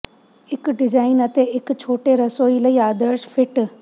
ਇੱਕ ਡਿਜ਼ਾਇਨ ਅਤੇ ਇੱਕ ਛੋਟੇ ਰਸੋਈ ਲਈ ਆਦਰਸ਼ ਫਿੱਟ